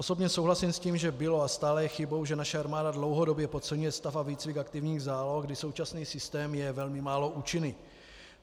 Osobně souhlasím s tím, že bylo a stále je chybou, že naše armáda dlouhodobě podceňuje stav a výcvik aktivních záloh, kdy současný systém je velmi málo účinný.